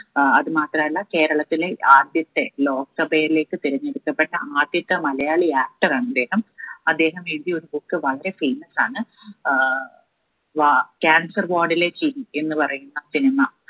ആഹ് അതുമാത്രല്ല കേരളത്തിലെ ആദ്യത്തെ ലോകാസഭയിലേക്ക് തിരഞ്ഞെടുക്കപ്പെട്ട ആദ്യത്തെ malayali actor ആണിദ്ദേഹം അദ്ദേഹം എഴുതിയ ഒരു book വളരെ famous ആണ് ഏർ വാ cancer ward ലെ ചിരി എന്നുപറയുന്ന cinema